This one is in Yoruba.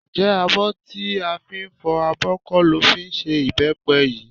Ǹjẹ́ abọ́ tó fi ń fọ abọ kọ́ ló fẹ́ fi ṣe ìbẹ́pẹ yìí?